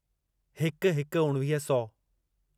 हिकु हिकु उणिवीह सौ